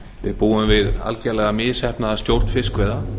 við búum við algerlega misheppnaða stjórn fiskveiða